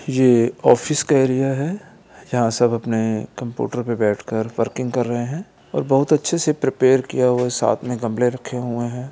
ये ऑफिस का एरिया है यहाँ सब अपने कंप्यूटर पर बैठ कर वर्किंग कर रहे हैं और बहुत अच्छे से प्रेपर किया हुआ है साथ में गमले रखे हुए है।